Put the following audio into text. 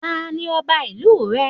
Ta ni Ọba ìlú rẹ?